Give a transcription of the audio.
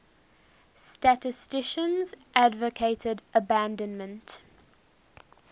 statisticians advocated abandonment